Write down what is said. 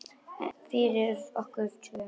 Fyrir okkur tvö.